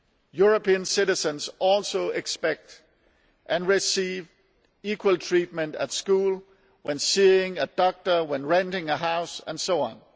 European citizens also expect to receive equal treatment at school, when seeing a doctor, when renting a house and so on.